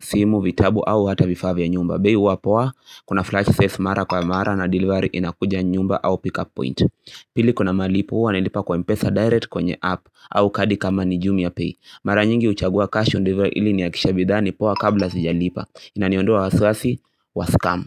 simu, vitabu au hata vifaa vya nyumba. Bei huwa poa, kuna flash sales mara kwa mara na delivery inakuja nyumba au pick up point. Pili kuna malipo hua nalipa kwa mpesa direct kwenye app au kadi kama ni jumia pay. Mara nyingi huchagua cash on delivery ili nihakikishe bidhaa ni poa kabla sijalipa. Inaniondoa wasiwasi wa scam.